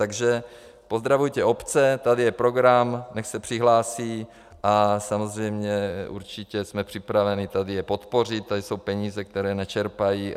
Takže pozdravujte obce, tady je program, ať se přihlásí a samozřejmě určitě jsme připraveni tady je podpořit, tady jsou peníze, které nečerpají.